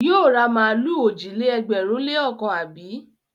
Yóò ra màlúù òjì-lé-ẹgbẹ̀rún-lé-ọ̀kan, àbí?